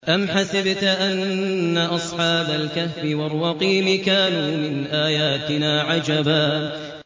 أَمْ حَسِبْتَ أَنَّ أَصْحَابَ الْكَهْفِ وَالرَّقِيمِ كَانُوا مِنْ آيَاتِنَا عَجَبًا